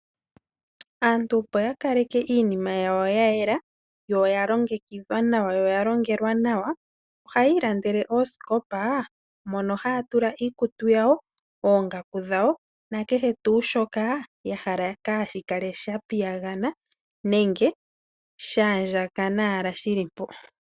Aantu opo iinima yawo yayela, noyalongekidhwa nawa, noya longelwa nawa ohaya ilandele oosikopa mono haya tula iikutu yawo, oongaku dhawo nakehe tuu shoka yahala kaashikale shapiyagana nenge sha andjakana shili mpo.